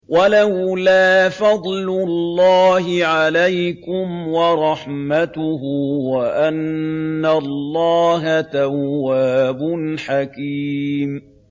وَلَوْلَا فَضْلُ اللَّهِ عَلَيْكُمْ وَرَحْمَتُهُ وَأَنَّ اللَّهَ تَوَّابٌ حَكِيمٌ